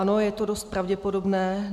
Ano, je to dost pravděpodobné.